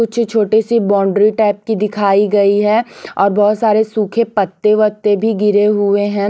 कुछ छोटी सी बाउंड्री टाइप की दिखाई गई है और बहुत सारे सूखे पत्ते वत्ते भी गिरे हुए हैं।